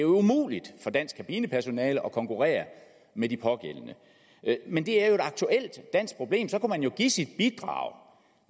umuligt for dansk kabinepersonale at konkurrere med de pågældende men det er jo et aktuelt dansk problem og så kunne man jo give sit bidrag